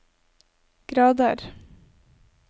grader